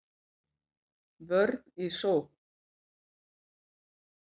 Vörn í sókn